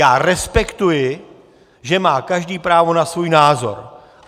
Já respektuji, že má každý právo na svůj názor.